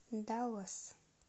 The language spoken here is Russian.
даллас